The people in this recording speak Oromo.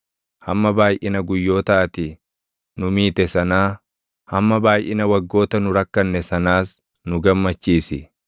Hamma baayʼina guyyoota ati nu miite sanaa, hamma baayʼina waggoota nu rakkanne sanaas nu gammachiisi.